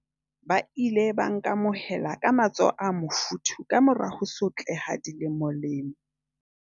"Ba ile ba nkamohela ka matsoho a mofuthu ka mora ho sotleha dilemolemo."